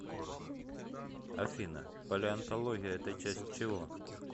афина палеонтология это часть чего